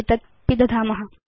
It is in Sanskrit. एतत् पिदधाम